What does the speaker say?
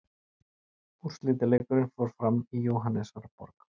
Úrslitaleikurinn fór fram í Jóhannesarborg.